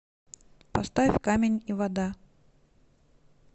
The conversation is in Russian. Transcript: поставь камень и вода